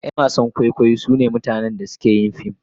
Yan wasan kwaikwayo sune mutanen da suke yin fim..